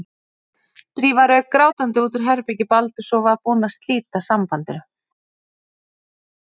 Drífa rauk grátandi út úr herbergi Baldurs og var búin að slíta sambandinu.